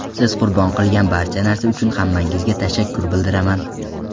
Siz qurbon qilgan barcha narsa uchun hammangizga tashakkur bildiraman.